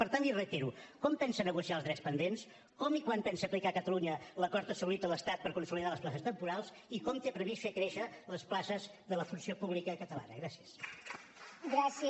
per tant l’hi reitero com pensa negociar els drets pendents com i quan pensa aplicar a catalunya l’acord assolit a l’estat per consolidar les places temporals i com té previst fer créixer les places de la funció pública catalana gràcies